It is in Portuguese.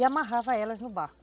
E amarrava elas no barco.